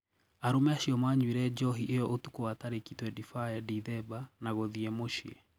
"Arũme acio manywire njohi iyo ũtukũ wa tarĩkĩ twendi bae Dithemba na gũthie mũcie."